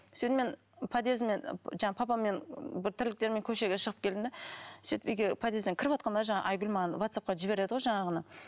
сөйтіп мен подъезіме жаңағы папаммен бір тірліктермен көшеге шығып келдім де сөйтіп үйге подъезден кіріватқанда жаңағы айгүл маған ватсапқа жібереді ғой жаңағыны